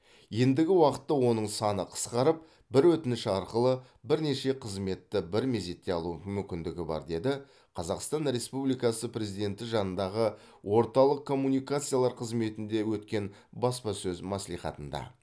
ендігі уақытта оның саны қысқарып бір өтініш арқылы бірнеше қызметті бір мезетте алу мүмкіндігі бар деді қазақстан республикасы президенті жанындағы орталық коммуникациялар қызметінде өткен баспасөз мәслихатында